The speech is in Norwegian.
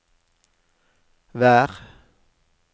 vær